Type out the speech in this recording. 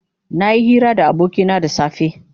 Nayi hira da abokina da safe.